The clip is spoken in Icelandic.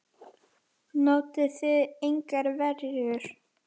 Notuðuð þið engar verjur?